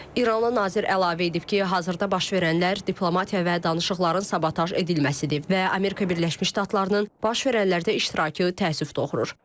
İranlı nazir əlavə edib ki, hazırda baş verənlər diplomatiya və danışıqların sabotaj edilməsidir və Amerika Birləşmiş Ştatlarının baş verənlərdə iştirakı təəssüf doğurur.